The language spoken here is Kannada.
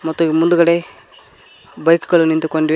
ಮತ್ತು ಮುಂದುಗಡೆ ಬೈಕು ಗಳು ನಿಂತುಕೊಂಡಿವೆ.